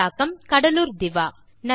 தமிழாக்கம் கடலூர் திவா